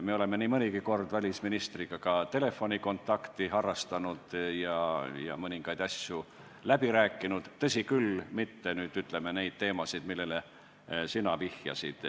Me oleme nii mõnigi kord välisministriga ka telefoni teel kontakti võtnud ja mõningaid asju läbi rääkinud, tõsi, mitte küll neid teemasid, millele sina vihjasid.